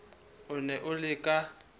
o ne a le ka